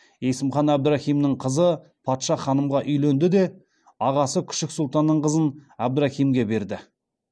есім хан әбдірахимнің қызы патша ханымға үйленді де ағасы күшік сұлтанның қызын әбдірахимге берді